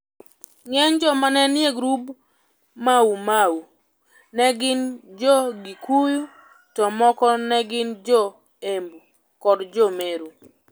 Ng'eny joma ne nie grup mar Maumau ne gin Jo-Gikuyu to moko ne gin Jo-Embu kod Jo-Meru.